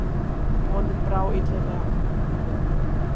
Honum brá illilega.